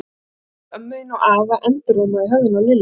Ég þarf að tala við ömmu þína og afa endurómaði í höfðinu á Lillu.